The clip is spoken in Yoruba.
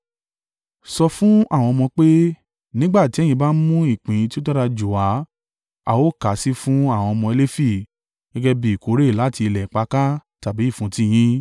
“Sọ fún àwọn ọmọ pé, ‘Nígbà tí ẹ̀yin bá mú ìpín tí ó dára jù wá, a ó kà á sí fún àwọn ọmọ Lefi gẹ́gẹ́ bí ìkórè láti ilẹ̀ ìpakà tàbí ìfúntí yín.